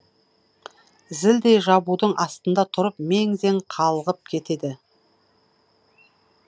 зілдей жабудың астында тұрып мең зең қалғып кетеді